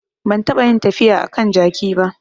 Ban taɓa yin tafiya a kan jaki ba